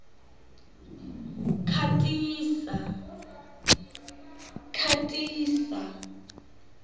khatisa